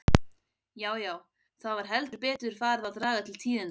Já, já, það var heldur betur farið að draga til tíðinda!